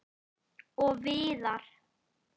Og víðar.